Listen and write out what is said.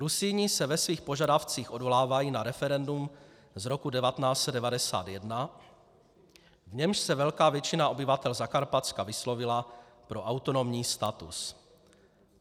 Rusíni se ve svých požadavcích odvolávají na referendum z roku 1991, v němž se velká většina obyvatel Zakarpatska vyslovila pro autonomní status.